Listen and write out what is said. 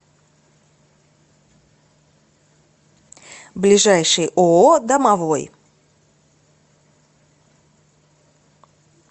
ближайший ооо домовой